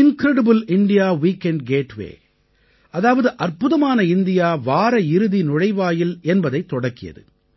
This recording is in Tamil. இன்கிரெடிபிள் இந்தியா வீக்கெண்ட் கேட்வே அதாவது அற்புதமான இந்தியா வார இறுதி நுழைவாயில் என்பதைத் தொடக்கியது